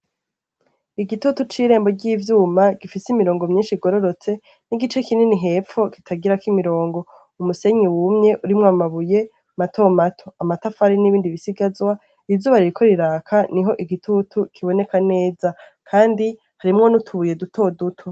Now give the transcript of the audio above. Igitutu c'irembo ry'ivyuma gifise imirongo myinshi igororotse n'igice kinini hepfu kitagirako imirongo umusenyi wumye urimwo amabuye mato mato amatafari n'ibindi bisigazwa irizubariraiko riraka ni ho igitutu kiboneka neza, kandi harimwo n'utubuye dutoduto.